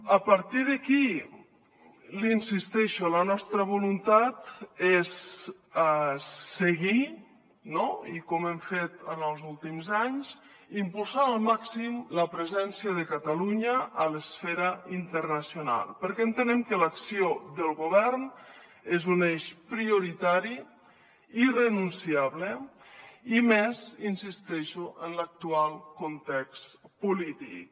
a partir d’aquí hi insisteixo la nostra voluntat és seguir no com hem fet en els últims anys impulsant al màxim la presència de catalunya a l’esfera internacional perquè entenem que l’acció del govern és un eix prioritari i irrenunciable i més hi insisteixo en l’actual context polític